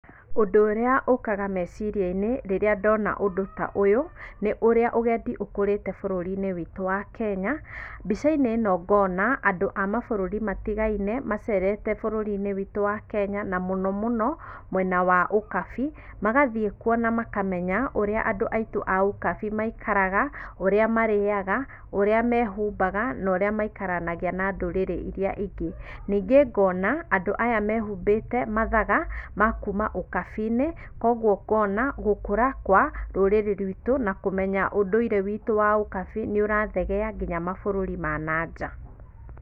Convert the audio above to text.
ũndũ ũrĩa ũkaga meciria-inĩ rĩrĩa ndona ũndũ ta ũyũ, nĩ ũrĩa ũgendi ũkũrĩte bũrũri-inĩ witũ wa kenya. Mbica-inĩ ĩno ngona andũ a mabũrũri matigaine, macerete bũrũri-inĩ witũ wa Kenya na mũno mũno mwena wa ũkabi, magathiĩ kuo na makamenya ũrĩa andũ aitũ a ũkabi maikaraga, ũrĩa marĩaga, ũrĩa mehumbaga, na ũrĩa maikaranagia na ndũrĩrĩ iria ingĩ. Ningĩ ngona, andũ aya mehumbĩte mathaga, ma kuma ũkabi-inĩ koguo ngona gũkũra kwa rũrĩrĩ rwitu na kũmenya ũndũire witũ wa ũkabi nĩũrathegea nginya mabũrũri ma na nja.